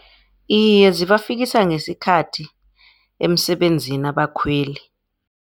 Iye, zibafikisa ngesikhathi emsebenzini abakhweli.